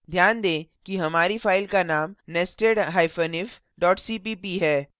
ध्यान दें कि हमारी file का name nestedif cpp है